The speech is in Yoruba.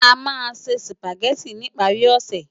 Amá nsé Sùpágèti nipári òsè